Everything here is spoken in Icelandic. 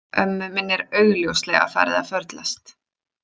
Ömmu minni er augljóslega farið að förlast.